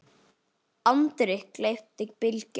andri, gleypti Bylgja.